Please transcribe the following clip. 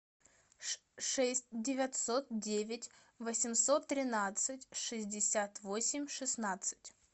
шесть девятьсот девять восемьсот тринадцать шестьдесят восемь шестнадцать